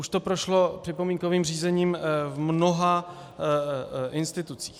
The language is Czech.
Už to prošlo připomínkovým řízením v mnoha institucích.